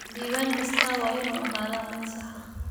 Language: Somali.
Diiwaan kasta waa inuu ahaadaa mid sax ah.